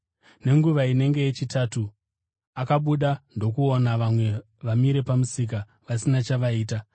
“Nenguva inenge yechitatu akabuda ndokuona vamwe vamire pamusika vasina chavaiita.